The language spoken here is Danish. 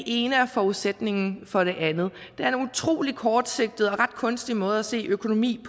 ene er forudsætningen for det andet det er en utrolig kortsigtet og ret kunstig måde at se økonomien